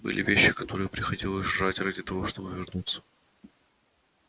были вещи которые приходилось жрать ради того чтобы вернуться